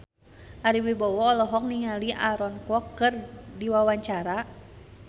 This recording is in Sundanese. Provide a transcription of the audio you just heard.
Ari Wibowo olohok ningali Aaron Kwok keur diwawancara